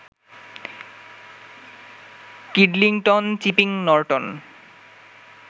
Kidlington, Chipping Norton